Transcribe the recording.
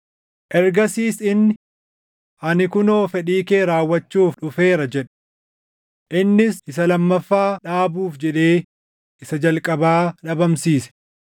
Ergasiis inni, “Ani kunoo fedhii kee raawwachuuf dhufeera” jedhe. Innis isa lammaffaa dhaabuuf jedhee isa jalqabaa dhabamsiise.